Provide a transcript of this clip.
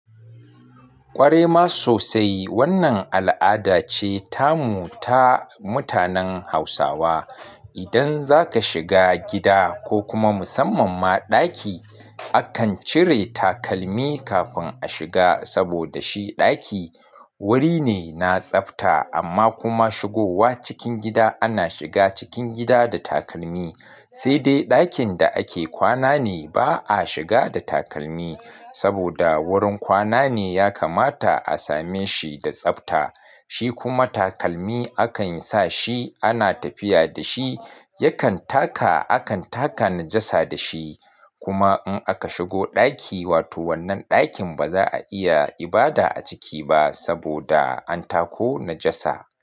Kwarai ma sosai. Wannan al'ada ce tamu ta mutanen Hausawa. Idan zaka shiga gida ko kuma musamman ma ɗaki, akan cire takalmi kafin a shiga saboda shi ɗaki wuri ne na tsafta. Amma kuma shigowa cikin gida ana shiga cikin gida da takalmi. Sai dai ɗakin da ake kwana ne ba a shiga da takalmi saboda wurin kwana ne ya kamata a same shi da tsafta. Shi kuma takalmi akan sa shi ana tafiya da shi, yakan taka akan taka najasa da shi. Kuma in aka shigo ɗaki, wato wannan ɗakin ba za a iya ibada a ciki ba saboda an tako najasa.